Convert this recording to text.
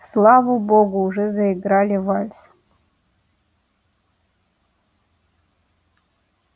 слава богу уже заиграли вальс